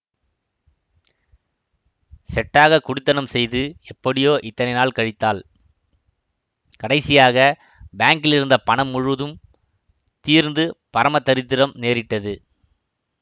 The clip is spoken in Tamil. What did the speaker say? செட்டாகக் குடித்தனம் செய்து எப்படியோ இத்தனை நாள் கழித்தாள் கடைசியாக பாங்கிலிருந்த பணம் முழுதும் தீர்ந்து பரம தரித்திரம் நேரிட்டது